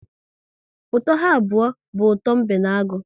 Ụtọ ha abụọ bụ ụtọ mbe na agụ